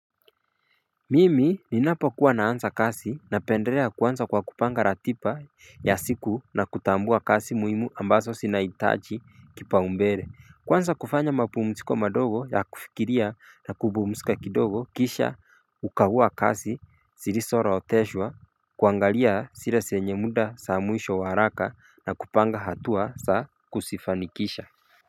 Mimi ninapokuwa naanza kazi na pendelea kuanza kwa kupanga ratiba ya siku na kutambua kazi muhimu ambazo zinaitaji kipaumbele kuanza kufanya mapumziko madogo ya kufikiria na kupumzika kidogo kisha kukagua kazi zilizoorodheshwa kuangalia zile zenye muda za mwisho wa haraka na kupanga hatua za kuzifanikisha.